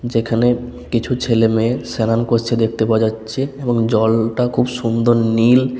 যেখানে কিছু ছেলেমেয়ে স্নানান করছে দেখতে পাওয়া যাচ্ছে এবং জল-লটা খুব সুন্দর নীল।